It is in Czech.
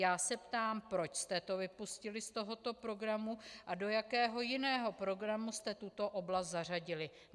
Já se ptám, proč jste to vypustili z tohoto programu a do jakého jiného programu jste tuto oblast zařadili.